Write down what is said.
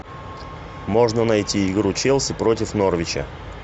можно найти игру челси против норвича